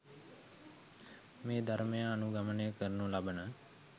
මේ ධර්මය අනුගමනය කරනු ලබන